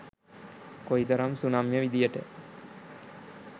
කොයිතරම් සුනම්‍ය විදිහට